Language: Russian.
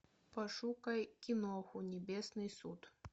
пошукай киноху небесный суд